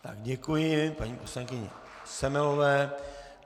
Já děkuji paní poslankyni Semelové.